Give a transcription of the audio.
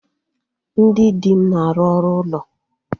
Ndị di m na-arụ ọrụ ụlọ.